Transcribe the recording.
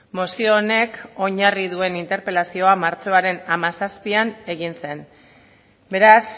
mozio honek oinarri duen interpelazioa martxoaren hamazazpian egin zen beraz